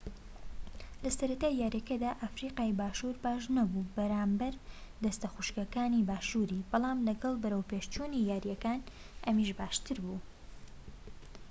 لەسەرەتای یاریەکەدا ئەفریقای باشوور باشنەبوو بەرامبەر دەستەخوشکەکانی باشووری بەڵام لەگەڵ بەرەوپێشچوونی یاریەکان ئەمیش باشتر بوو